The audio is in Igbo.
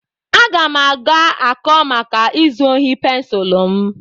Aga m aga-akọ maka izu ohi pensụl m.